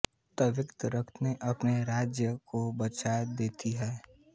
वक्त् रहते अपने राज्य को बचा देति है